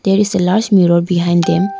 there is a large mirror behind them.